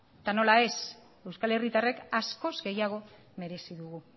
eta nola ez euskal herritarrek askoz gehiago merezi dugu